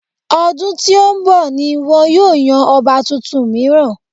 Ọdún tí ó ń bọ̀ ni wọn yóò yan ọba tuntun mìíràn.